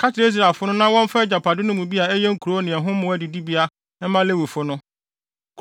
“Ka kyerɛ Israelfo no na wɔmfa wɔn agyapade no mu bi a ɛyɛ nkurow ne ɛho mmoa adidibea mma Lewifo no.